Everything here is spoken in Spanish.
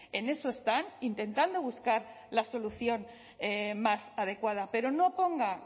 en eso están intentando buscar la solución más adecuada pero no ponga